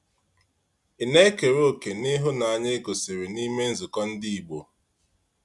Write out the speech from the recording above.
Ị na-ekere òkè n’ihụnanya e gosiri n’ime nzukọ ndị Igbo?